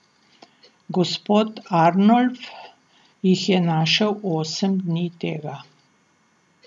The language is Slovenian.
Gospod Arnolf jih je našel osem dni tega.